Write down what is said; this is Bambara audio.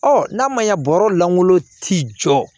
Ɔ n'a ma ɲa bɔrɔ lankolon t'i jɔ